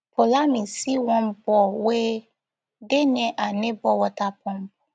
poulami see one ball wey dey near her neighbour water pump